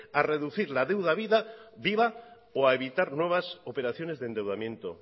a reducir la deuda viva o a evitar nuevas operaciones de endeudamiento